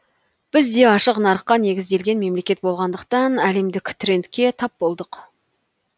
біз де ашық нарыққа негізделген мемлекет болғандықтан әлемдік трендке тап болдық